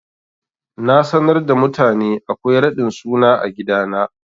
Na sanar da mutane akwai raɗin suna a gidana.